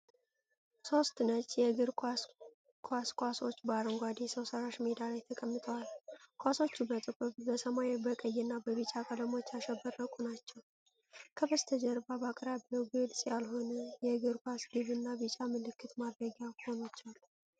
ሦስት ነጭ የእግር ኳስ ኳሶች በአረንጓዴ ሰው ሠራሽ ሜዳ ላይ ተቀምጠዋል። ኳሶቹ በጥቁር፣ በሰማያዊ፣ በቀይ እና በቢጫ ቀለሞች ያሸበረቁ ናቸው። ከበስተጀርባ በአቅራቢያው ግልጽ ያልሆነ የእግር ኳስ ግብ እና ቢጫ ምልክት ማድረጊያ ኮኖች አሉ።